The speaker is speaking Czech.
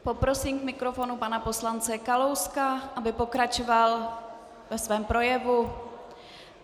Poprosím k mikrofonu pana poslance Kalouska, aby pokračoval ve svém projevu.